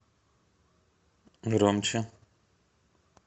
громче